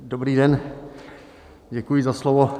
Dobrý den, děkuji za slovo.